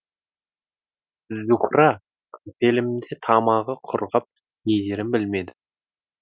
зуһра қапелімде тамағы құрғап не дерін білмеді